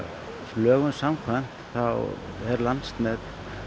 lögum samkvæmt þá er Landsneti